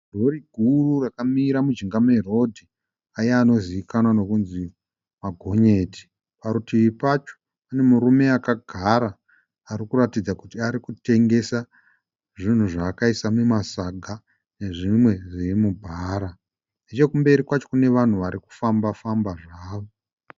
Rori guru rakamira mujinga merodhi aya anozivikanwa nekunzi magonyeti. Parutivi pacho pane murume akagara ari kuratidza kuti ari kutengesa zvinhu zvaakaisa mumasaga nezvimwe zviri mubhara. Nechekumberi kwacho kune vanhu vari kufamba- famba zvavo.